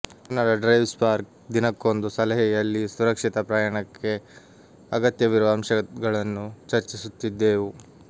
Kannada drive spark ದಿನಕ್ಕೊಂದು ಸಲಹೆ ಯಲ್ಲಿ ಸುರಕ್ಷಿತ ಪ್ರಯಾಣಕ್ಕೆ ಅಗತ್ಯವಿರುವ ಅಂಶಗಳನ್ನು ಚರ್ಚಿಸುತ್ತಿದ್ದೇವು